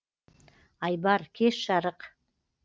айбар кеш жарық